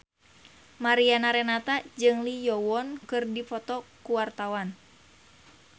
Mariana Renata jeung Lee Yo Won keur dipoto ku wartawan